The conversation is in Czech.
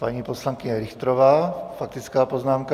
Paní poslankyně Richterová, faktická poznámka.